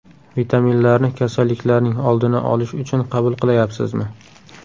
Vitaminlarni kasalliklarning oldini olish uchun qabul qilayapsizmi?